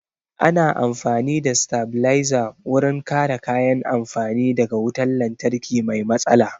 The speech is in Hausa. Ana amfani da sitabilizer wurin kare kayan amfani da ga wutan lantarki mai matsala